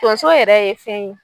Tonso yɛrɛ ye fɛn ye